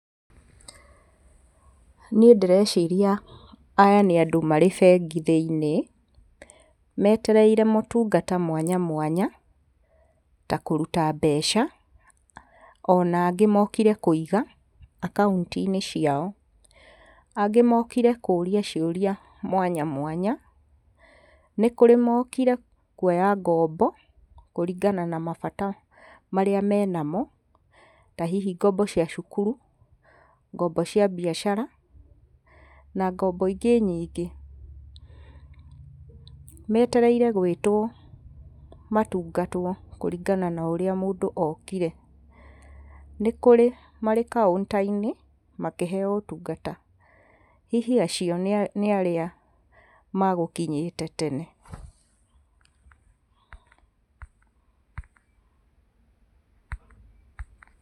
Niĩ ndĩreciria aya nĩ andũ marĩ bengi thĩiniĩ metereire motungata mwanya mwanya ta kũruta mbeca, ona angĩ mokire kũiga akaunti-inĩ ciao. Angĩ mokire kũria ciũria mwanya mwanya. Nĩ kũrĩ mokire kuoya ngombo kũringana na mabata marĩa menamo ta hihi ngombo cia cukuru, ngombo cia mbiacara na ngombo ingĩ nyingĩ. Metereire gwĩtwo matungatwo kũringana na ũrĩa mũndũ okire. Nĩ kũrĩ marĩ kaunta-inĩ makĩheo ũtungata hihi acio nĩ arĩa magũkinyĩte tene.